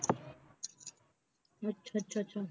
ਅੱਛਾ ਅੱਛਾ ਅੱਛਾ